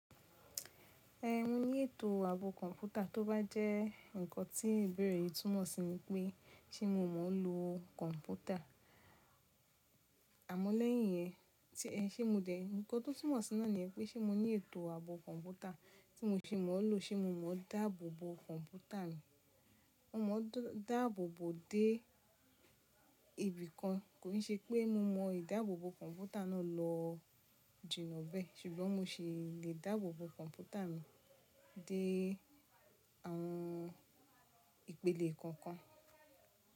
Ẹhn mo ní ètò àbọ̀ kọ̀mpútà tó bá jẹ́ ǹkan tí ibéèrè yi túmọ̀ sí ni pé ṣé mo mọ̀ nlo kọ̀mpútà? Àmọ́ lẹ́yìn yẹn tí ẹ ṣé mó dè, ǹkan tó túmọ̀ sí náà ni yẹn, pe ṣé mo ní ètò ààbọ̀ kọ̀mpútà, tí mo ṣe mọ̀ nlo ṣe mọ̀ dáàbòbò kọ̀mpútà mi. Mo mọ̀ dáàbòbò dé ibìkan, kò un ṣe pé mo mọ ìdáàbòbò kọ̀mpútà náà lọ jìnà bẹ́ẹ̀, ṣùgbọ́n mo ṣì lè dáàbòbò kọ̀mpútà mi dé àwọn ìpele kan kan.